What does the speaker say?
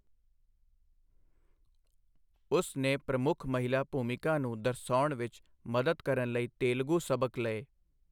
ਉਸ ਨੇ ਪ੍ਰਮੁੱਖ ਮਹਿਲਾ ਭੂਮਿਕਾ ਨੂੰ ਦਰਸਾਉਣ ਵਿੱਚ ਮਦਦ ਕਰਨ ਲਈ ਤੇਲਗੂ ਸਬਕ ਲਏ।